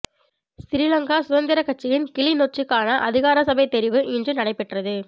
சிறிலங்கா சுதந்திரக்கட்சியின் கிளிநொச்சிக்கான அதிகாரசபைத் தெரிவு இன்று நடைபெற்றது